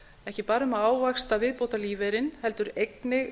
ekki bara um að ávaxta viðbótarlífeyrinn heldur einnig